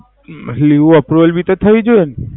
હિઓ approve ભી તો થવી જોયી ન.